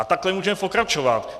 A takhle můžeme pokračovat.